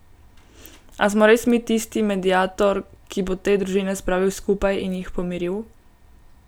A smo res mi tisti mediator, ki bo te družine spravil skupaj in jih pomiril?